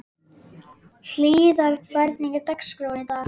Hlíðar, hvernig er dagskráin í dag?